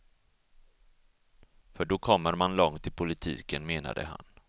För då kommer man långt i politiken, menade han.